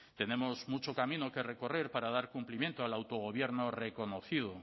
tenemos mucho camino que recorrer para dar cumplimiento al autogobierno reconocido